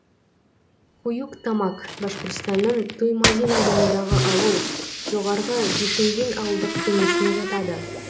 куюк тамак башқұртстанның туймазин ауданындағы ауыл жоғарғы бишиндин ауылдық кеңесіне жатады